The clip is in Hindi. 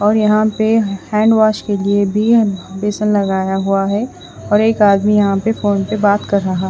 और यहाँ पे हेंडवोस के लिए भी बेसन लगाया हुआ है और एक आदमी यहाँ पे फ़ोन पे बात कर रहा--